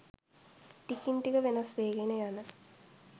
ටිකින් ටික වෙනස් වේගෙන යන